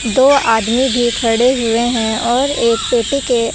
दो आदमी भी खड़े हुए हैं और एक पेटी के--